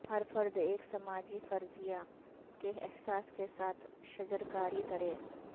ہر فرد ایک سماجی فریضہ کے احساس کے ساتھ شجرکاری کرے